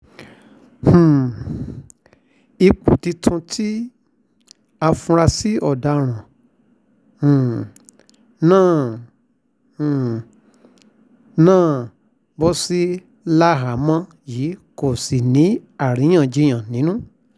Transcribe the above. um ipò tuntun tí àfúráṣí ọ̀daràn um náà um náà bọ́ sí láhàámọ̀ yìí kò ṣàì ní awuyewuye nínú